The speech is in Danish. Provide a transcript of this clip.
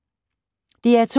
DR2